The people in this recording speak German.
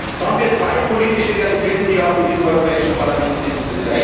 Da haben wir zwei politische Realitäten, die wir auch in diesem Europäischen Parlament finden.